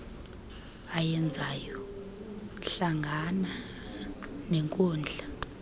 ayenzayo hlangana nenkundla